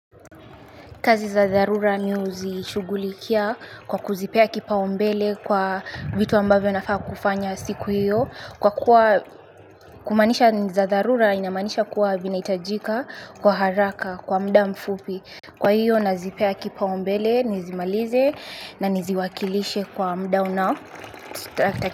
Kazi za dharura mi huzishughulikia kwa kuzipea kipaumbele kwa vitu ambavyo nafaa kufanya siku hiyo. Kwa kuwa kumaanisha za dharura inamaanisha kuwa vinahitajika kwa haraka kwa muda mfupi. Kwa hiyo nazipea kipaumbele nizimalize na niziwakilishe kwa muda.